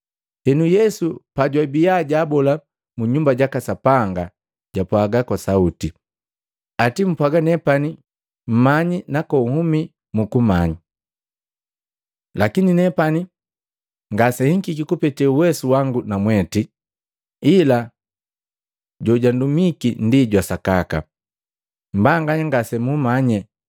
Henu Yesu pajwabiya jubola mu Nyumba jaka Sapanga, japwaga kwa sauti, “Ati mpwaga nepani mmanyi nakonhuma mukumanyi? Lakini nepani ngasenhikiki kupete uwesu wangu na mwete, ila jojundumiki ndi jwa sakaka. Mbanganya ngasemumanye,